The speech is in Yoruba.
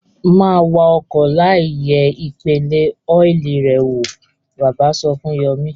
Má wa ọkọ̀ láìyẹ̀ ìpele ọ́ìlì rẹ̀ wò! Bàbá sọ fún Yọ̀mí.